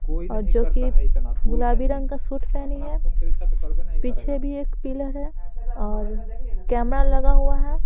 और जो कि गुलाबी रंग का सूट पहनी है पीछे भी एक पिलर है और कैमरा लगा हुआ है ।